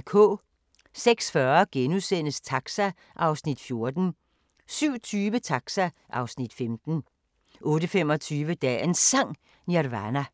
06:40: Taxa (Afs. 14)* 07:20: Taxa (Afs. 15) 08:25: Dagens Sang: Nirvana